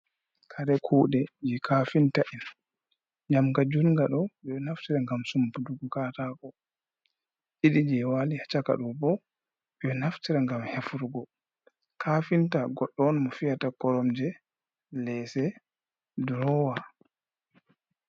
Kare kuɗe je kafinta en, njamga junga ɗo je naftira ngam sumputuggo katako, ɗiɗi je wali ha chaka ɗo bo beɗo naftira ngam hefirgo. Kafinta goɗɗo on mo fi’yata koromje, lese, durowa.